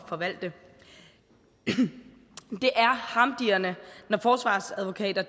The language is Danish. forvalte det er harmdirrende når forsvarsadvokater